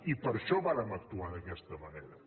i per això vàrem actuar d’aquesta manera